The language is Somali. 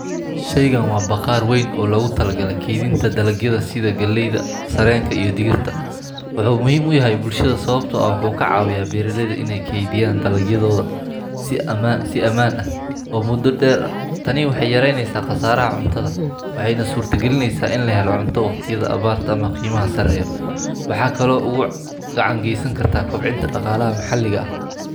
Sheygan waa baqar weyn oo logu tala gale kedinta dalagyaada sitha galeyda sarenka iyo digirta, wuxuu muhiim u yahay bulshaada sawabto ah wuxuu kacawiya beera leyda in ee kedhiyan dalagyadoda si aman ah oo mudo deer tani waxee yareynesa qasara cuntadha waxena surta galineysa in lahelo cunto waqtiyaada abarta ama cutadha sareyo, waxaa kalo uga gesan kartaa kobcinta maxaliga ah.